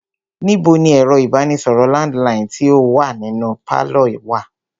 Níbo ni ẹ̀rọ ìbánisọ̀rọ̀ landiline tí o wá nínú pálọ̀ wa?